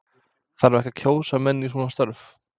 Þarf ekki að kjósa menn í svona störf?